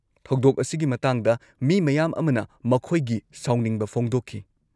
-ꯊꯧꯗꯣꯛ ꯑꯁꯤꯒꯤ ꯃꯇꯥꯡꯗ ꯃꯤ ꯃꯌꯥꯝ ꯑꯃꯅ ꯃꯈꯣꯏꯒꯤ ꯁꯥꯎꯅꯤꯡꯕ ꯐꯣꯡꯗꯣꯛꯈꯤ ꯫